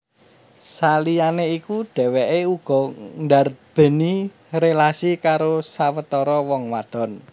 Saliyané iku dhèwèké uga ndarbèni rélasi karo sawetara wong wadon